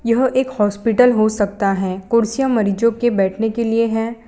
यह एक हॉस्पिटल हो सकता है कुर्सियां मरीजों के बैठने के लिए है।